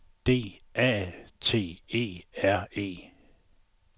D A T E R E